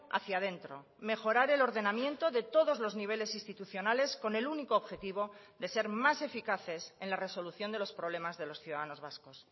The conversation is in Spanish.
hacía dentro mejorar el ordenamiento de todos los niveles institucionales con el único objetivo de ser más eficaces en la resolución de los problemas de los ciudadanos vascos